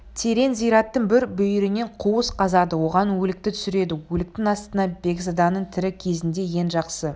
терең зираттың бір бүйірінен қуыс қазады оған өлікті түсіреді өліктің астына бекзаданың тірі кезінде ең жақсы